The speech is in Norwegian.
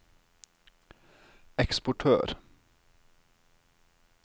eksportør